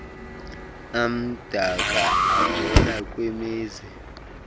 amdaka avela kwimizi